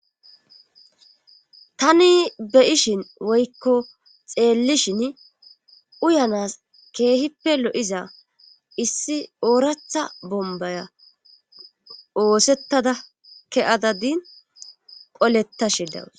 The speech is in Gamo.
Tani be7ishin woykko xeelishini uyanaas keehipe lo7iiza issi ooratha bombbaya oosettada ke7ada din qolettashe daws.